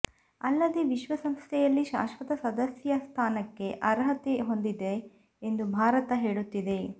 ಅಲ್ಲದೆ ವಿಶ್ವಸಂಸ್ಥೆಯಲ್ಲಿ ಶಾಶ್ವತ ಸದಸ್ಯ ಸ್ಥಾನಕ್ಕೆ ಅರ್ಹತೆ ಹೊಂದಿದೆ ಎಂದು ಭಾರತ ಹೇಳುತ್ತಿದೆ